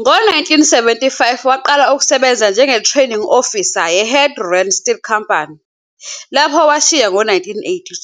Ngo-1975 waqala ukusebenza njengeTraining Officer yeHadgerand Still Company, lapho washiya ngo-1982.